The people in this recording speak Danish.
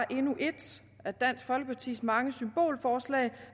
endnu et af dansk folkepartis mange symbolforslag